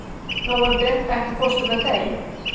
Nóvember, ekki fórstu með þeim?